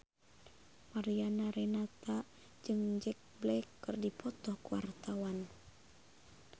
Mariana Renata jeung Jack Black keur dipoto ku wartawan